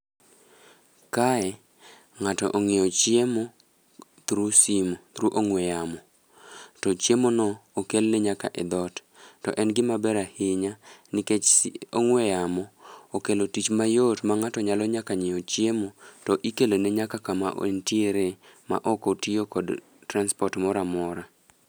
Kae, ng'ato ong'iewo chiemo through simu, through ong'we yamo, to chiemono okelne nyaka e dhot. To en gimaber ahinya nikech ong'we yamo okelo tich mayot ma ng'ato nyalo nyaka nyiewo chiemo, to ikelone nyaka kama entiere ma ok otiyo kod transport moro amora.